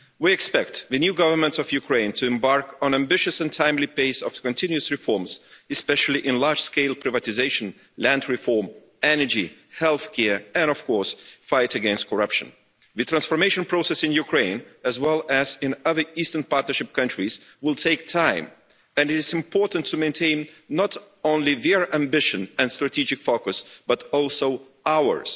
We expect the new Government of Ukraine to embark on an ambitious and timely pace of continuous reforms, especially in large scale privatisation, land reform, energy, healthcare and, of course, the fight against corruption. The transformation process in Ukraine, as well as in other Eastern Partnership countries, will take time, and it's important to maintain not only their ambition and strategic focus, but also ours.